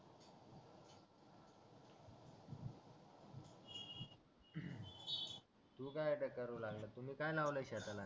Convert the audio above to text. तू काय आता करू लागल्यास तुम्ही काय लावले शेताला